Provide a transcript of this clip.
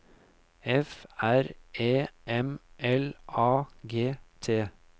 F R E M L A G T